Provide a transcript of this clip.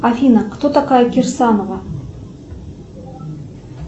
афина кто такая кирсанова